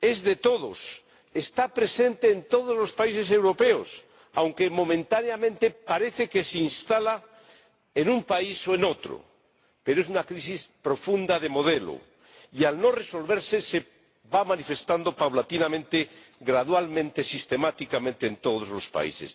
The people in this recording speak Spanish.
es de todos, está presente en todos los países europeos, aunque momentáneamente parece que se instala en un país o en otro, pero es una crisis profunda de modelo y, al no resolverse, se va manifestando paulatina, gradual, sistemáticamente en todos los países.